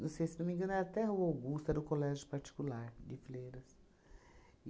Não sei, se não me engano, era até rua Augusta era o Colégio Particular de Fleiras.